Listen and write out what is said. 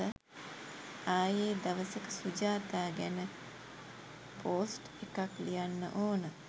ආයේ දවසක සුජාතා ගැන පෝස්ට් එකක් ලියන්න ඕන